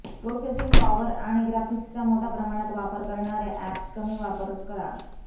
processing power आणि ग्राफिक्सचा मोठ्या प्रमाणात वापर करणाऱ्या अॅप्स कमी वापर करा